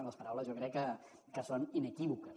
i les paraules jo crec que són inequívoques